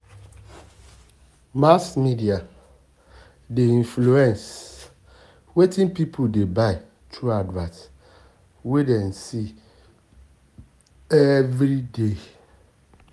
mass media mass media dey influence wetin people dey buy through advert wey dem see every day.